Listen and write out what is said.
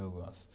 Eu gosto.